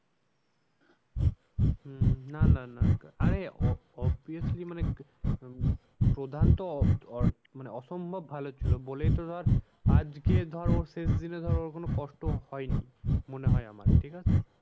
হম না না না আরে obviously মানে উম প্রধান তো মানে অসম্ভব ভালো ছিল বলে তো ধর আজকে ধর ওর শেষ দিনে ধর ওর কোনো কষ্ট হয়নি মনে হয় আমার ঠিক আছে?